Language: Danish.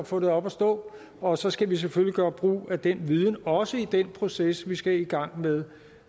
få det op at stå og så skal vi selvfølgelig gøre brug af den viden også i den proces vi skal i gang med